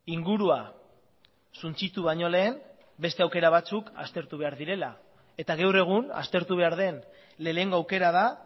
ingurua suntsitu baino lehen beste aukera batzuk aztertu behar direla eta gaur egun aztertu behar den lehenengo aukera da